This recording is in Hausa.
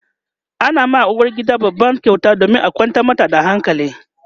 ana wa uwargida babban kyauta domin a kwantar mata da hankali